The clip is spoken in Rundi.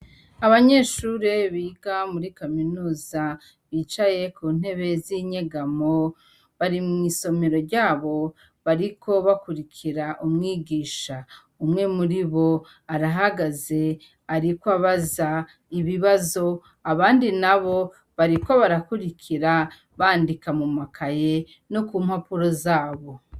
Abanyeshure biga muri kaminusa bicaye ku ntebez inyegamo bari mw'isomero ryabo bariko bakurikira umwigisha umwe muri bo arahagaze, ariko abaza ibibazo abandi na bo bariko barakurikira bandika mumakaye no ku mpapuro zabo.